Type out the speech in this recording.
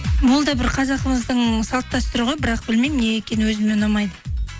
бұл да бір қазағымыздың салт дәстүрі ғой бірақ білмеймін неге екенін өзіме ұнамайды